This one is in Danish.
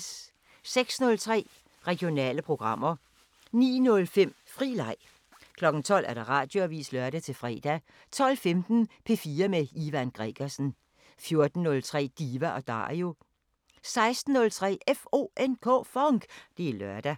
06:03: Regionale programmer 09:05: Fri Leg 12:00: Radioavisen (lør-fre) 12:15: P4 med Ivan Gregersen 14:03: Diva & Dario 16:03: FONK! Det er lørdag